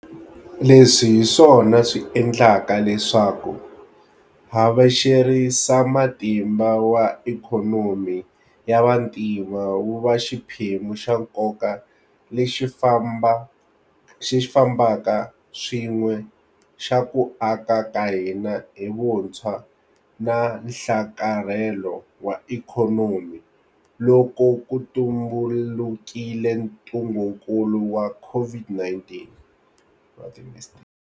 Leswi hi swona swi endlaka leswaku havexerisamatimba wa ikhonomi ya vantima wu va xiphemu xa nkoka lexi fambaka swin'we xa ku aka ka hina hi vuntshwa na nhlakarhelo wa ikhonomi loko ku tumbulukile ntungukulu wa COVID-19.